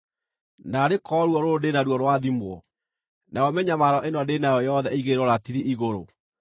“Naarĩ korwo ruo rũrũ ndĩ naruo rwathimwo, nayo mĩnyamaro ĩno ndĩ nayo yothe ĩigĩrĩrwo ratiri igũrũ!